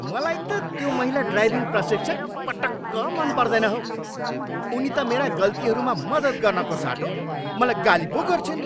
मलाई त त्यो महिला ड्राइभिङ प्रशिक्षक पटक्क मन पर्दैन हौ। उनी त मेरा गल्तीहरूमा मद्दत गर्नको साटो मलाई गाली पो गर्छिन्।